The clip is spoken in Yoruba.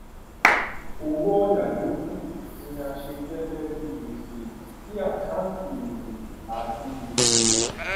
owó òyà yòókù ni a ṣí gẹgẹ bíi gbèsè sí àkáǹtì èrè àti gbèsè